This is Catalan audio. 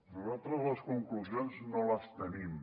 nosaltres les conclusions no les tenim